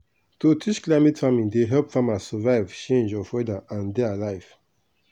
to teach climate farming dey help farmers survive change of weather and dey alive.